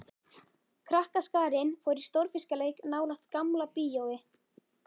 Krakkaskarinn fór í stórfiskaleik nálægt Gamla bíói.